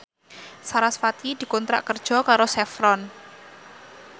sarasvati dikontrak kerja karo Chevron